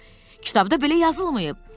Kitabda belə yazılmayıb.